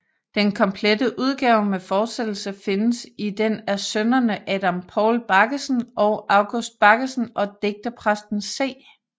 Den komplette udgave med fortsættelse findes i den af sønnerne Adam Paul Baggesen og August Baggesen og digterpræsten C